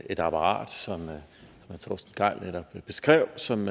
et apparat som herre torsten gejl netop beskrev som